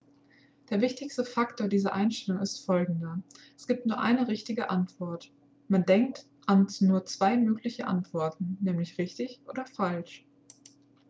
der wichtigste faktor dieser einstellung ist folgender es gibt nur eine richtige antwort man denkt an nur zwei mögliche antworten nämlich richtig oder falsch